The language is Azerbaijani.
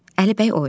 Əlibəy oynayır.